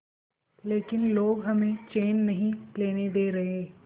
लेकिन लोग हमें चैन नहीं लेने दे रहे